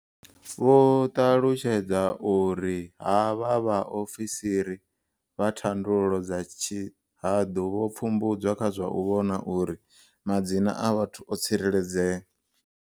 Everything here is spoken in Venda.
Vho ṱalutshedza uri havha vhaofisiri vha thandululo dza tshihaḓu vho pfumbudzwa kha zwa u vhona uri madzina a vhathu o tsireledzea.